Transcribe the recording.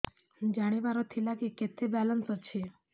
ଜାଣିବାର ଥିଲା କି କେତେ ବାଲାନ୍ସ ଅଛି